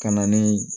Ka na ni